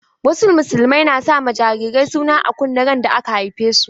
Wasu musulmia na sa ma jarirai suna a kunne randa aka haife su.